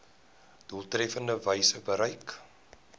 doeltreffendste wyse bereik